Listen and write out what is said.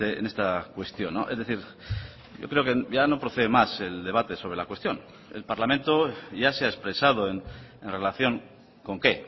en esta cuestión es decir yo creo que ya no procede más el debate sobre la cuestión el parlamento ya se ha expresado en relación con qué